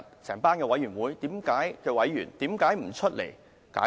這些委員會的委員為何不出來解釋？